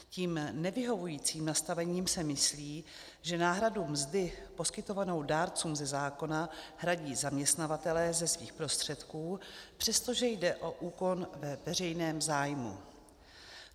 Tím nevyhovujícím nastavením se myslí, že náhradu mzdy poskytovanou dárcům ze zákona hradí zaměstnavatelé ze svých prostředků, přestože jde o úkon ve veřejném zájmu.